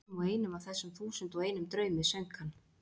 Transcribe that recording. Og í hverjum og einum af þessum þúsund og einum draumi söng hann